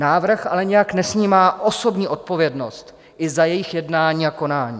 Návrh ale nijak nesnímá osobní odpovědnost i za jejich jednání a konání.